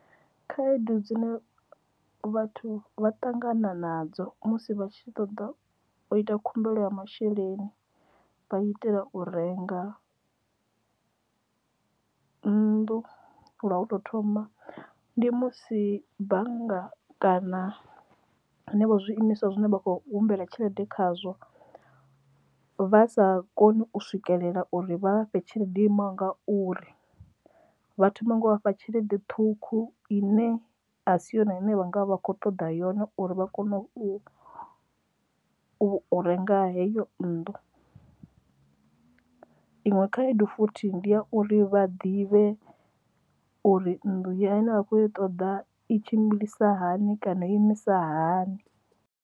Khaedu dzine vhathu vha ṱangana nadzo musi vha tshi ṱoḓa u ita khumbelo ya masheleni vha itela u renga nnḓu lwa u to thoma ndi musi bannga kana hanevho zwiimiswa zwine vha khou humbela tshelede khazwo vha sa koni u swikelela uri vha vha fhe tshelede yo imaho nga uri vha thoma nga u vhafha tshelede ṱhukhu ine a si hone vha nga vha kho ṱoḓa yone uri vha kone u renga heyo nnḓu iṅwe khaedu futhi ndi ya uri vha ḓivhe uri nnḓu iyo ine vha khou i ṱoḓa i tshimbilisa hani kana u imisa hani.